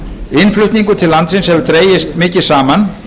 innflutningur til landsins hefur dregist mikið saman